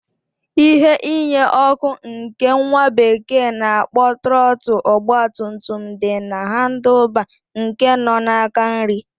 Ihe inye ọkụ nke nwa bekee na-akpọ Trọtl ogba tum tum di na handl baa nke nọ n'aka nrị.